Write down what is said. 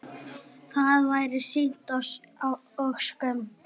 Það væri synd og skömm.